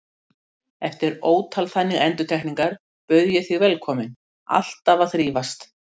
Eftir ótal þannig endurtekningar bauð ég þig velkominn, alltaf að þrífast.